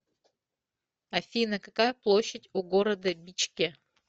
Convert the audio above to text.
афина какая площадь у города бичке